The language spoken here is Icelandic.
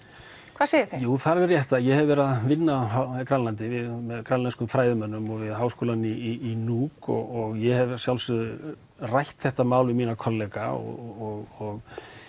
hvað segja þeir jú það er alveg rétt að ég hef verið að vinna á Grænlandi með grænlenskum fræðimönnum við Háskólann í Nuuk og ég hef að sjálfsögðu rætt þetta mál við mína kollega og